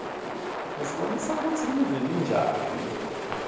usibonisa kutsi live linjani